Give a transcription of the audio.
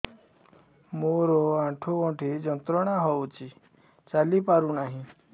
ମୋରୋ ଆଣ୍ଠୁଗଣ୍ଠି ଯନ୍ତ୍ରଣା ହଉଚି ଚାଲିପାରୁନାହିଁ